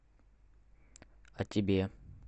а тебе